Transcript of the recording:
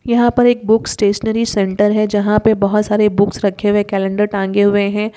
यहाँ पर एक बुक्स स्टेशनरी सेंटर है जहाँ पे बहुत सारे बुक्स रखे हुए हैं। कैलेंडर टांगे हुए हैं।